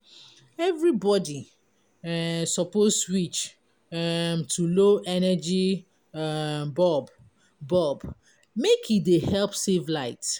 Everybody um suppose switch um to low energy um bulb bulb make e dey help save light.